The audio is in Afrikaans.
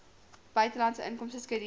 buitelandse inkomste skedule